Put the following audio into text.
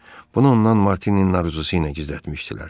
Bunu ondan Martinin arzusu ilə gizlətmişdilər.